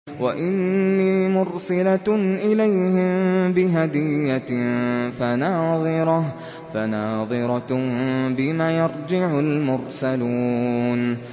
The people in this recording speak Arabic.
وَإِنِّي مُرْسِلَةٌ إِلَيْهِم بِهَدِيَّةٍ فَنَاظِرَةٌ بِمَ يَرْجِعُ الْمُرْسَلُونَ